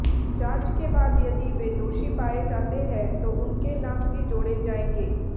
जांच के बाद यदि वे दोषी पाए जाते हैं तो उनके नाम भी जोड़े जाएंगे